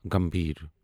گمبھیر